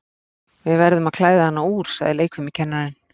Við verðum að klæða hana úr, sagði leikfimikennarinn.